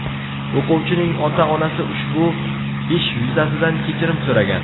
O‘quvchining ota-onasi ushbu ish yuzasidan kechirim so‘ragan.